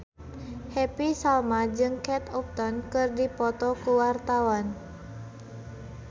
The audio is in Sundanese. Happy Salma jeung Kate Upton keur dipoto ku wartawan